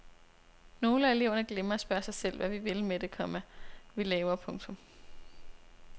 Nogle af eleverne glemmer at spørge sig selv hvad vi vil med det, komma vi laver. punktum